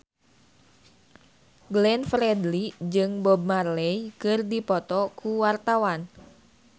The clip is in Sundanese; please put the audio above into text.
Glenn Fredly jeung Bob Marley keur dipoto ku wartawan